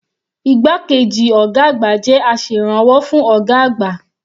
Igbákejì ọ̀gá àgbà jẹ́ aserànwọ́ fún ọ̀gá àgbà.